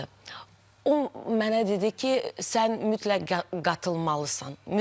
O mənə dedi ki, sən mütləq qatılmalısan, mütləq.